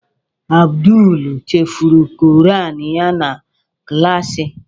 Abdul chefuru Koran ya na klaasị.